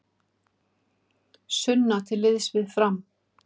Sunna til liðs við Fram